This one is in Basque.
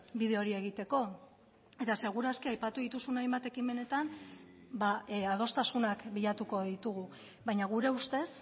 bide hori egiteko eta seguru aski aipatu dituzun hainbat ekimenetan adostasunak bilatuko ditugu baina gure ustez